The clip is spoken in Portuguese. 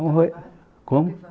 É um roe... Como?